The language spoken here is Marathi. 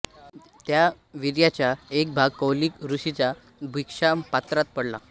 त्या वीर्याचा एक भाग कौलिक ऋषीच्या भिक्षापात्रात पडला